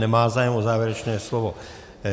Nemá zájem o závěrečné slovo.